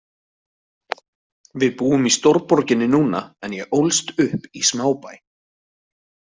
Við búum í stórborginni núna en ég ólst upp í smábæ.